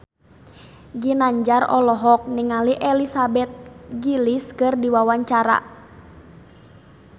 Ginanjar olohok ningali Elizabeth Gillies keur diwawancara